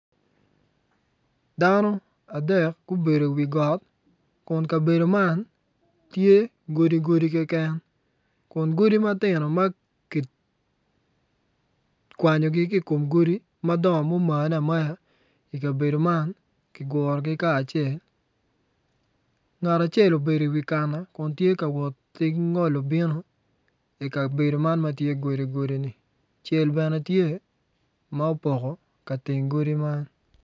Dano adek gubedo i wi got kun ka bedo man tye godi godi keken kun godi matino ma kikwanyogi ki i kom godi madongo ma gumane amaya i kabedo man ki gurogi kacel ngat acel obedo i wi kana kun woto ki ngolo yo bino i kabedo man ma tye godi kodi-ni cel bene tye ma opoko teng godi man.